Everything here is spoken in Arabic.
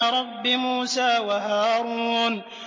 رَبِّ مُوسَىٰ وَهَارُونَ